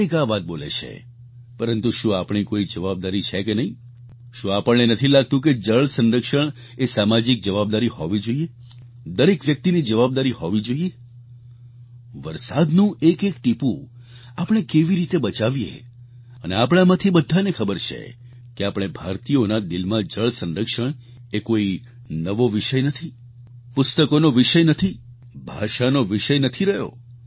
દરેક આ વાત બોલે છે પરંતુ શું આપણી કોઈ જવાબદારી છે કે નહીં શું આપણને નથી લાગતું કે જળ સંરક્ષણ એ સામાજિક જવાબદારી હોવી જોઈએ દરેક વ્યક્તિની જવાબદારી હોવી જોઈએ વરસાદનું એક એક ટીપું આપણે કેવી રીતે બચાવીએ અને આપણાંમાંથી બધાને ખબર છે કે આપણે ભારતીયોના દિલમાં જળ સંરક્ષણ એ કોઈ નવો વિષય નથી પુસ્તકોનો વિષય નથી ભાષાનો વિષય નથી રહ્યો